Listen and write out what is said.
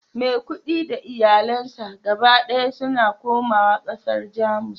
maikudi da iyalansa gaba daya suna komawa kasar Jamus